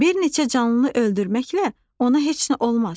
Bir neçə canlıını öldürməklə ona heç nə olmaz.